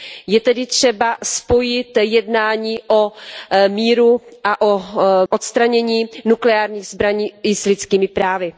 Je tedy třeba spojit jednání o míru a o odstranění nukleárních zbraní i s lidskými právy.